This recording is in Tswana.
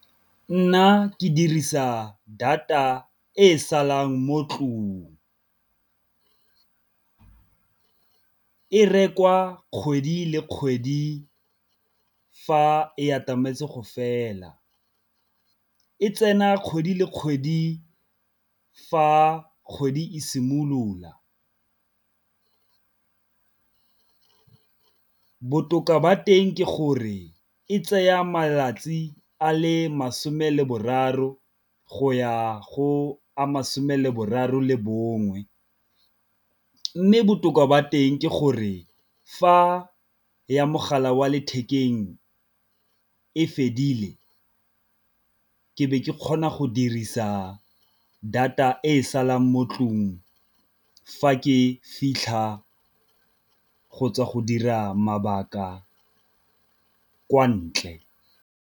Nna ke dirisa data e salang mo tlong, e rekwa kgwedi le kgwedi fa e atametse go fela, e tsena kgwedi le kgwedi fa kgwedi e simolola. Botoka ba teng ke gore e tsaya malatsi a le masome le boraro go ya go ama lesome leboraro le bongwe, mme botoka jwa teng ke gore fa ya mogala wa lethekeng e fedile ke be ke kgona go dirisa data e salang mo ntlong fa ke fitlha go tswa go dira mabaka kwa ntle.